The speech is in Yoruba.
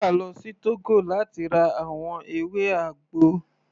Ruka lọ sí Togo láti ra àwọn ewé àgbo.